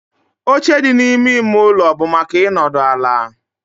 Oche dị n'ime ime ụlọ bụ maka ịnọdụ ala